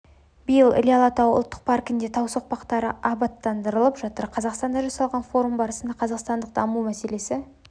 биыл іле алатауы ұлттық паркінде тау соқпақтары абаттандырылып жатыр қазақстанда жасалған форум барысында қазақстандық қамту мәселесі